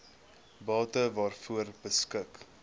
bate waaroor beskik